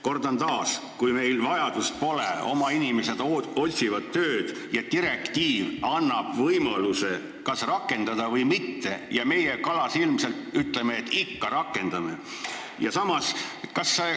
Kordan taas: kuigi meil vajadust pole – meie oma inimesed otsivad tööd – ja direktiiv annab võimaluse punkti kas rakendada või mitte rakendada, ütleme meie kalasilmselt, et rakendame ikka.